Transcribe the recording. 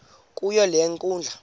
kuyo le nkundla